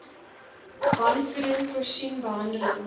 wanvoeding voorsien behandeling